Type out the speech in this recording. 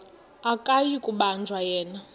akuyi kubanjwa yena